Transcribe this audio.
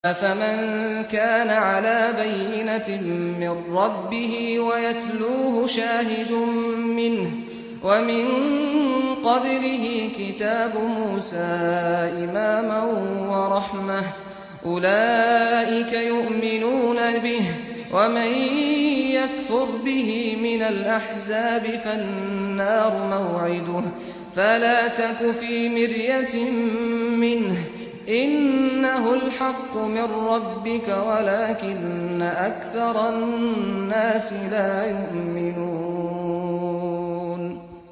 أَفَمَن كَانَ عَلَىٰ بَيِّنَةٍ مِّن رَّبِّهِ وَيَتْلُوهُ شَاهِدٌ مِّنْهُ وَمِن قَبْلِهِ كِتَابُ مُوسَىٰ إِمَامًا وَرَحْمَةً ۚ أُولَٰئِكَ يُؤْمِنُونَ بِهِ ۚ وَمَن يَكْفُرْ بِهِ مِنَ الْأَحْزَابِ فَالنَّارُ مَوْعِدُهُ ۚ فَلَا تَكُ فِي مِرْيَةٍ مِّنْهُ ۚ إِنَّهُ الْحَقُّ مِن رَّبِّكَ وَلَٰكِنَّ أَكْثَرَ النَّاسِ لَا يُؤْمِنُونَ